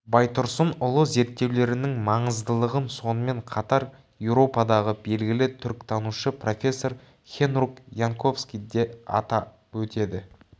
байтұрсынұлы зерттеулерінің маңыздылығын сонымен қатар еуропадағы белгілі түркітанушы профессор хенрук янковски де атап өтеді